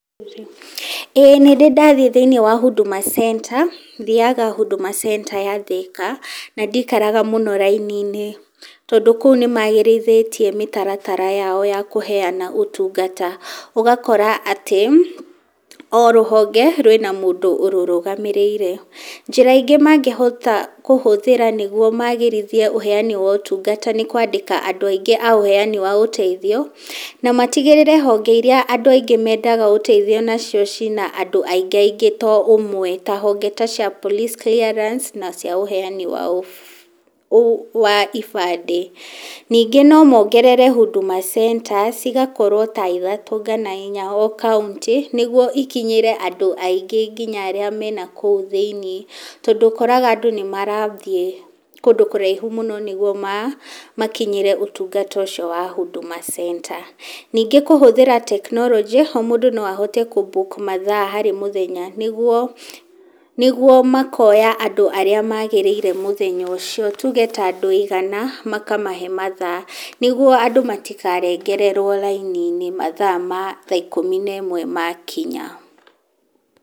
Ĩĩ nĩ ndĩ ndathiĩ thĩinĩ wa Huduma Centre, thiaga Huduma Centre ya Thika na ndikaraga mũno raini-inĩ tondũ kũu nĩ magĩrithĩtie mĩtaratara yao ya kũheana ũtungata ũgakora atĩ, o rũhonge rwĩna mũndũ ũrũrũgamĩrĩire. Njĩra ingĩ mangĩhota kũhũthĩra nĩguo magĩrithie ũheani wa ũtungata nĩ kwandĩka andũ aingĩ a ũheani wa ũteithio, na matigĩrĩre honge iria andũ aingĩ mendaga gũteithio nacio ciĩna andũ aingaingĩ to ũmwe, ta honge ta cia police clearance na cia ũheani wa ibandĩ. Ningĩ nomongerere Huduma Centres cigakorwo ta ithatũ kana inya o kauntĩ, nĩguo ikinyĩre andũ aingĩ nginya arĩa mena kũu thĩinĩ, tondũ ũkoraga andũ nĩ marathiĩ kũndũ kũraihu mũno nĩguo ma makinyĩre ũtungata ũcio wa Huduma Centre, ningĩ kũhũthĩra tekinoronjĩ, o mũndũ no ahote kũmbuku mathaa harĩ mũthenya nĩguo nĩguo makoya andũ arĩa magĩrĩire mũthenya ũcio tuge ta andũ igana makamahe mathaa nĩguo andũ matikarengererwo raini-inĩ mathaa ma thaa ikũmi na ĩmwe makinya.